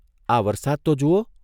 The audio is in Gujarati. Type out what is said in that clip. આ વરસાદ તો જુઓ.